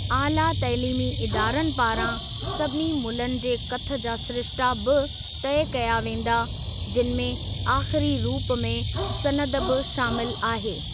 आला तइलीमी इदारनि पारां सभिनी मुल्हनि जे कथ जा सिरिश्ता बि तय कया वेंदा, जिनि में आख़िरी रूप में सनद बि शामिल आहे।